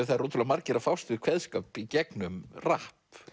það eru ótrúlega margir að fást við kveðskap í gegnum rapp